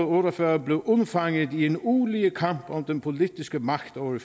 otte og fyrre blev undfanget i en ulige kamp om den politiske magt over